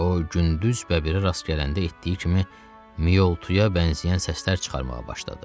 O, gündüz bəbirə rast gələndə etdiyi kimi mioltuyə bənzəyən səslər çıxarmağa başladı.